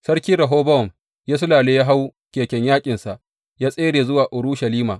Sarki Rehobowam, ya sullale ya hau keken yaƙinsa ya tsere zuwa Urushalima.